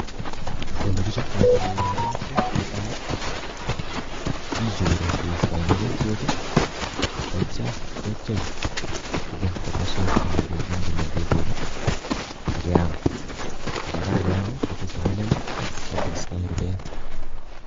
olegichaptai goroi netai gichuri keista mogotiet aitya gepchei kobun komaswek che mengechen che mengechen ageam ,gongeam kotese melel agoistai rubet